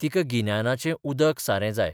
तिका गिन्यानाचें उदक सारें जाय.